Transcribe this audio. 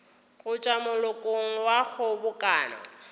go tšwa malokong a kgobokano